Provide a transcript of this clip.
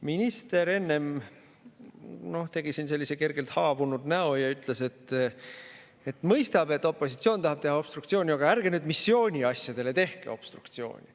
Minister tegi enne siin sellise kergelt haavunud näo ja ütles, et mõistab, et opositsioon tahab teha obstruktsiooni, aga ärgu nad nüüd missiooni asjadele tehku obstruktsiooni.